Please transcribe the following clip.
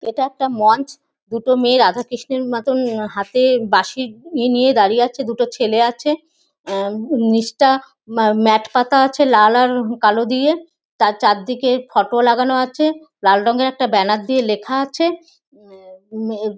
এটা একটা মঞ্চ । দুটো মেয়ে রাধা কৃষ্ণ -র মতো হাতে বাঁশি নিয়ে দাড়িয়ে আছে। দুটো ছেলে আছে। উম নীচটা ম্যাট পাতা আছে লাল আর কালো দিয়ে তার চারদিকে ফটো লাগানো আছে। লাল রঙের একটা ব্যানার দিয়ে লেখা আছেউম ম--